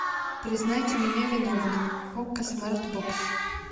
признайте меня виновным окко смарт бокс